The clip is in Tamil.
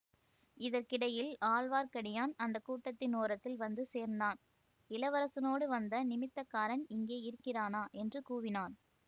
இதற்கிடையில் ஆழ்வார்க்கடியான் அந்த கூட்டத்தின் ஓரத்தில் வந்து சேர்ந்தான் இளவரசோடு வந்த நிமித்தக்காரன் இங்கே இருக்கிறானா என்று கூவினான்